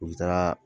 U bɛ taga